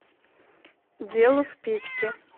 дело в печке